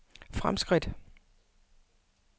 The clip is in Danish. fremskridt